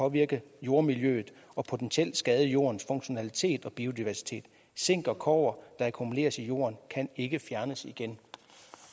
påvirke jordmiljøet og potentielt skade jordens funktionalitet og biodiversitet zink og kobber er akkumuleret i jorden kan ikke fjernes igen